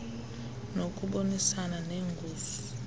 nokubonisana nee ngos